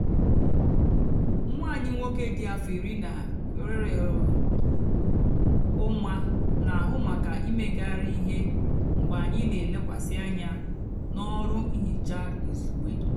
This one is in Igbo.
nwá ányị nwóké dị áfọ írí nà úmá nà-àhụ mákà ímegárí íhè mgbe ányị nà-èlekwasị ányá n'ọrụ nhicha izugbe.